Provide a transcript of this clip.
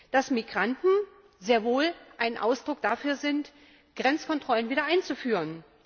dass Migranten sehr wohl ein Grund dafür sind, Grenzkontrollen wieder einzuführen.